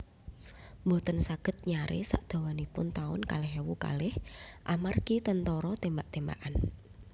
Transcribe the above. Mboten saged nyare sak dawanipun taun kalih ewu kalih amargi tentara tembak tembakan